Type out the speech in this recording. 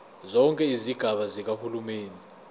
zonke izigaba zikahulumeni